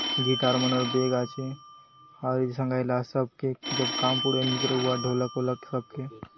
गिटार मनर बैग आचे आउरी संगायला आत सब के जब काम पडुआय निकराउआत ढोलक वोलक सबके --